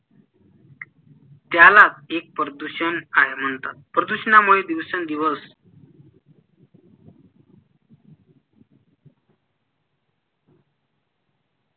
त्याला एक प्रदूषण आहे म्हणतात प्रदूषणामुळे दिवसेन दिवस